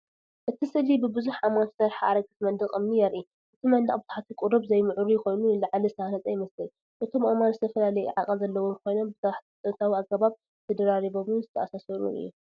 እቲ ስእሊ ብብዙሕ ኣእማን ዝተሰርሐ ኣረጊት መንደቕ እምኒ የርኢ። እቲ መንደቕ ብታሕቲ ቁሩብ ዘይምዕሩይ ኮይኑ ንላዕሊ ዝተሃንጸ ይመስል። እቶም ኣእማን ዝተፈላለየ ዓቐን ዘለዎም ኮይኖም ብጥንታዊ ኣገባብ ተደራሪቦምን ዝተኣሳሰሩን እዮም።